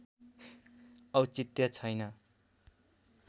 औचित्य छैन